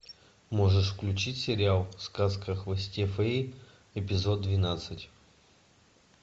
можешь включить сериал сказка о хвосте феи эпизод двенадцать